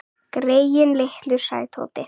Greyin litlu sagði Tóti.